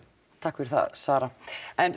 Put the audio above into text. takk fyrir það Sara